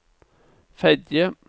Fedje